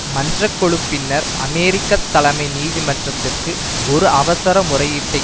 மன்ற கொழு பின்னர் அமெரிக்க தலைமை நீதிமன்றத்திற்கு ஒரு அவசர முறையீட்டைக்